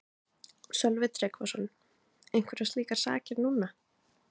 Sölvi Tryggvason: Einhverjar slíkar sakir núna?